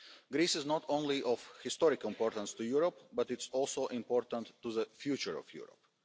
Greece is not only of historic importance to Europe, but it is also important to the future of Europe.